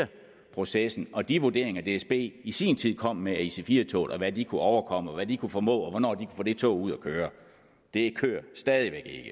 processen og de vurderinger dsb i sin tid kom med af ic4 toget og hvad de kunne overkomme og hvad de kunne formå og hvornår de få det tog ud at køre det kører stadig væk